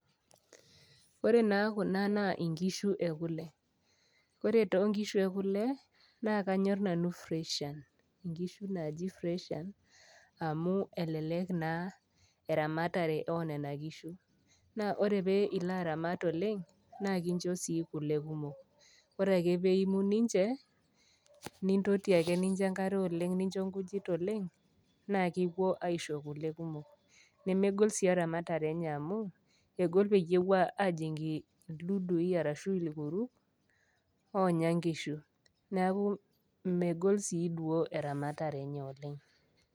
Ore naa kuna naa inkishu e kule, ore too inkishu e kule, naa kanyor nanu freshian, inkishu naaji freshian amu elelek naa eramatare oo nena kishu, na ore pee ilo aramat oleng' naa kincho sii kule kumok, ore ake pee eimu ninche, nintoti ake nincho enkare oleng', nincho inkujit oleng', naa kiwuo aisho kule kumok. Nemegol sii eramatare enye amu, egol pee ewuo ajing' ildudui arashu ilkuruk, oonya inkishu., neaku megol sii duo eramatare enye oleng'.